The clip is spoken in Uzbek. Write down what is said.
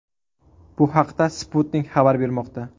Bu haqda Sputnik xabar bermoqda .